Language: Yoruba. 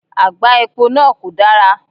Àgbá epo náà kò dara